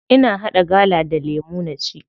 Ina haɗa gala da lemu na ci.